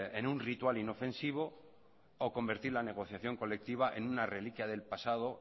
en un ritual inofensivo o convertir la negociación colectiva en una reliquia del pasado